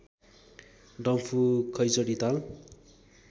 डम्फु खैँचडी ताल